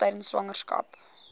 baba tydens swangerskap